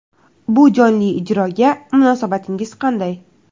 Bu jonli ijroga munosabatingiz qanday?